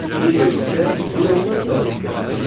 Bu döyüşdə Yunanlar qalib gəldilər.